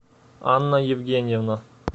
анна евгеньевна